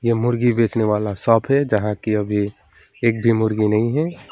यह मुर्गी बेचने वाला शॉप है यहां की अभी एक भी मुर्गी नहीं है।